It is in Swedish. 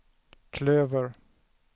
klöver